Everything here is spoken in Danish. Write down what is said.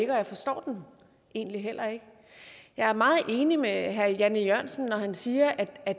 og jeg forstår den egentlig heller ikke jeg er meget enig med herre jan e jørgensen når han siger at